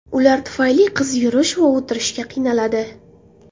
Ular tufayli qiz yurish va o‘tirishga qiynaladi.